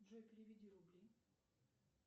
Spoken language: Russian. джой переведи рубли